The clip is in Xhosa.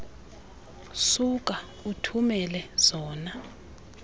suka uthumele zona